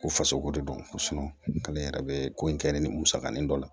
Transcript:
Ko faso ko de don ko k'ale yɛrɛ bɛ ko in kɛ nin musaka nin dɔ la